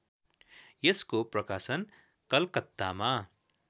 यसको प्रकाशन कलकत्तामा